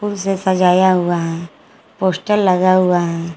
इसे सजाया हुआ है पोस्टर लगा हुआ है।